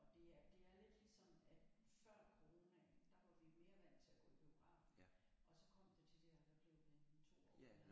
Og det er det er lidt ligesom at før coronaen der var vi mere vant til at gå i biografen og så kom der de der hvad blev det en 2 år nærmest